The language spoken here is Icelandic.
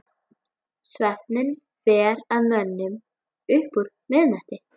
Svefninn fer að mönnum upp úr miðnætti.